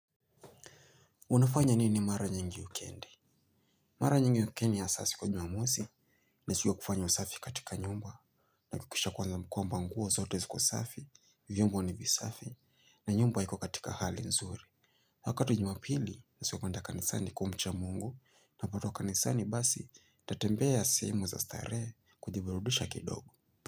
Unafanya nini mara nyingi wikendi? Mara nyingi wikendi hasa siku ya jumamosi, ni siku yakufanya usafi katika nyumba, na kuhakikisha kwanza kwamba nguo zote ziko safi, vyombo ni visafi, na nyumba iko katika hali nzuri. Wakati wa jumapili, ni siku ya kwenda kanisani kumcha Mungu, napatoka kanisani basi, tatembea sehemu za starehe, kujiburudisha kidogo.